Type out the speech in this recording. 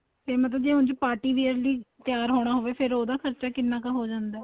ਜੇ ਮਤਲਬ ਉੱਝ party wear ਦੀ ਤਿਆਰ ਹੋਣਾ ਹੋਵੇ ਫੇਰ ਉਹਦਾ ਖਰਚਾ ਕਿੰਨਾ ਕ ਹੋ ਜਾਂਦਾ ਏ